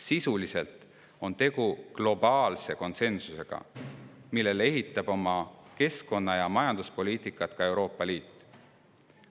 Sisuliselt on tegu globaalse konsensusega, mille alusel ehitab oma keskkonna- ja majanduspoliitikat üles ka Euroopa Liit.